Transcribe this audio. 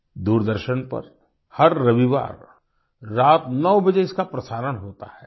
दूरदर्शन पर हर रविवार रात 9 बजे इसका प्रसारण होता है